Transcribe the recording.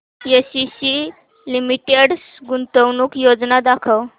ACC limited गुंतवणूक योजना दाखव